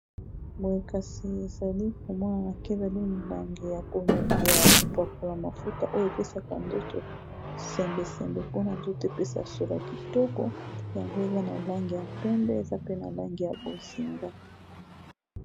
boye kasi ezali komwona na kezeli milangi ya kopakola mafuta oyo epesaka nzoto sembesembe mpona nzoto epesa sola kitoko yango eza na lange ya pembe eza pe na lange ya bozinga